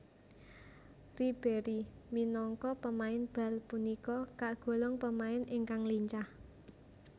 Ribéry minangka pemain bal punika kagolong pemain ingkang lincah